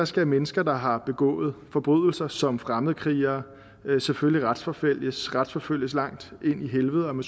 skal mennesker der har begået forbrydelser som fremmedkrigere selvfølgelig retsforfølges retsforfølges langt ind i helvede om